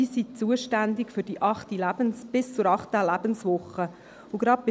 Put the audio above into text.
Sie sind bis zur achten Lebenswoche zuständig.